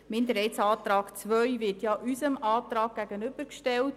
Der Minderheitsantrag II wird unserem Antrag gegenübergestellt.